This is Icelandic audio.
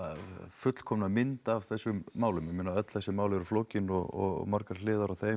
fullkomna mynd af þessum málum ég meina öll þessi mál eru flókin og margar hliðar á þeim